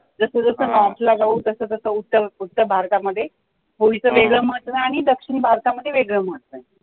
जसं जसं north ला जाऊ, तसं तसं उत्तर उत्तर भारतामध्ये होळी चं वेगळं महत्व आहे आणि दक्षिण भारता मध्ये वेगळं महत्व आहे.